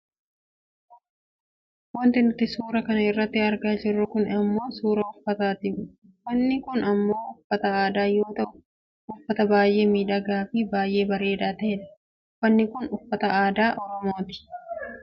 Wanti nuti suura kana irratti argaa jirru kun ammoo suuraa uffataati . Uffanni kun ammoo uffata aadaa yoo ta'u uffata baayyee miidhagaafi baayyee bareedaa ta'edha. Uffanni kun uffata aadaa oromooti.